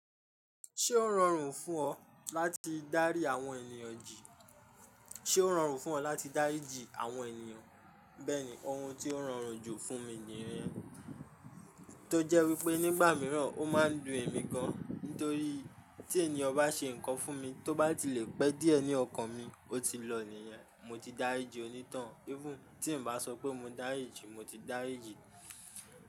Ṣé ó rọrùn fún ọ láti dárí àwọn ènìyàn jì? Ṣé ó rọrùn fún ọ láti dáríji àwọn ènìyàn? Bẹ́ẹ̀ni, ohun ti ó rọrùn jù fún mi ni yẹn, tó jẹ́ wípé nígbà mìíràn ó máa ń dùn ẹ̀mí gan, nítorí tí ènìyàn bá ṣe nǹkan fún mi tó bá ti le pẹ́ díẹ̀ ní ọkàn mi, ó ti lọ nìyẹn. Mo ti dáríji oní tọun, even tí n bá sọ pé mo dáríji, mo ti dáríji.